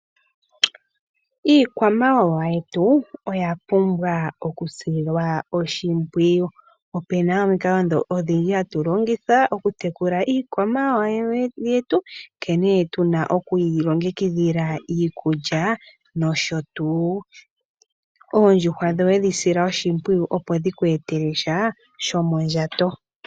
Iikwamawawa yetu oya pumbwa okusilwa oshimpwiyu, opena omikalo odhindji hatu longitha okutekula iikwamawawa yetu nkene tuna okuyi longekidhila iikulya nosho tuu. Oondjuhwa dhoye dhi sila oshimpwiyu opo dhiku etele sha shomondjato.